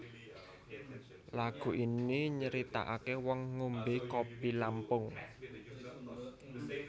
Lagu ini nyaritakake wong ngombe kopi Lampung